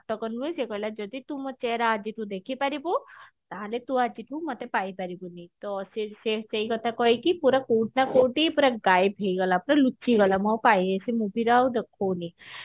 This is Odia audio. ନୁହେ ଯଦି ତୁ chair ଆଦିକୁ ଦେଖି ପାରିବୁ ତାହେଲେ ତୁ ଆଜିଠୁ ମତେ ପାଇ ପାରିବୁନି ତ ସେ ସେଇକଥା କହିକି ପୁରା କୋଉଠି ନା କୋଉଠି ପୁରା ଗାଏଭ ହେଇଗଲା ପୁରା ଲୁଚିଗଲା ମୁଁ ଆଉ ପାଇଲିନି ସେ ମୁଦିରେ ଆଉ ଦେଖଉନି